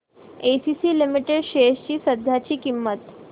ACC limited shares ची सध्याची किंमत